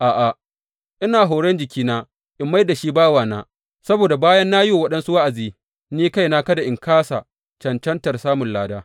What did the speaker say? A’a, ina horon jikina in mai da shi bawana, saboda bayan na yi wa waɗansu wa’azi, ni kaina kada in kāsa cancantar samun lada.